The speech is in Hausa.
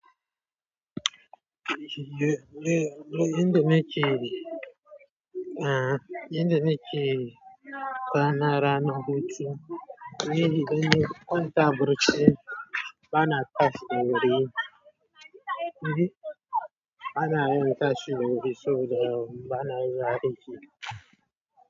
Yayinda nake, ah, yanda nake kwana ranar hutu, may be in na kwanta a barci, bana tashi wuri, ni bana yin tashi wuri sau dayawa, ba na zuwa aiki.